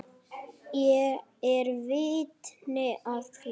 Ég er vitni að því.